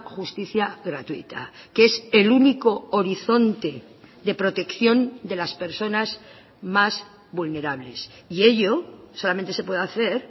justicia gratuita que es el único horizonte de protección de las personas más vulnerables y ello solamente se puede hacer